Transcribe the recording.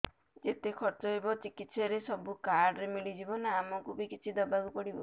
ଯେତେ ଖର୍ଚ ହେବ ଚିକିତ୍ସା ରେ ସବୁ କାର୍ଡ ରେ ମିଳିଯିବ ନା ଆମକୁ ବି କିଛି ଦବାକୁ ପଡିବ